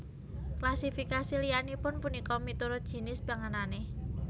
Klasifikasi liyanipun punika miturut jinis panganane